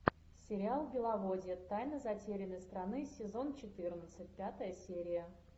сериал беловодье тайна затерянной страны сезон четырнадцать пятая серия